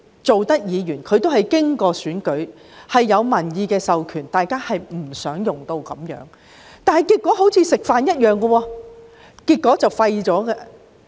各位議員皆經歷選舉，有民意授權，大家不想用上這方法，但結果卻彷如吃飯般，沒有後果。